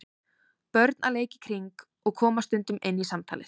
Börn að leik í kring og koma stundum inn í samtalið.